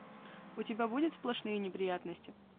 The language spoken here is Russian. у тебя будет сплошные неприятности